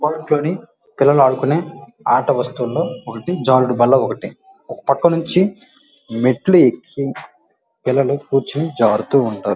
Park అని పిల్లలు ఆడుకునే ఆట వస్తువులలో ఒకటి జారుడు బల్లా ఒకటి ఒక పక్క నుంచి మెట్లు ఎక్కి పిల్లలు కూర్చొని జారుతూ ఉంటారు.